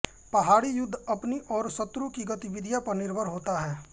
पहाड़ी युद्ध अपनी और शत्रु की गतिविधि पर निर्भर होता है